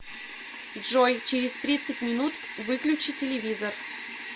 джой через тридцать минут выключи телевизор